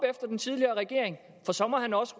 efter den tidligere regering for så må han også